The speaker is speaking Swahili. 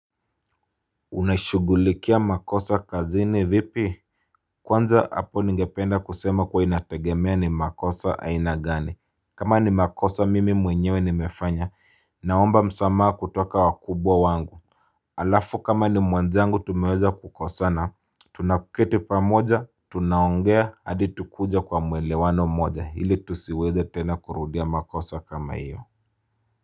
Unaishugulikia makosa kazini vipi? Kwanza, hapo ningependa kusema kuwa inategemea ni makosa aina gani. Kama ni makosa mimi mwenyewe nimefanya, naomba msamaha kutoka wakubwa wangu. Alafu kama ni mwenzangu tumeweza kukosana, tunaketi pamoja, tunaongea hadi tunakuja kwa muelewano mmoja ili tusiweze tena kurudia makosa kama hiyo.